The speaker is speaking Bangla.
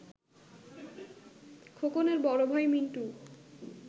খোকনের বড় ভাই, মিন্টু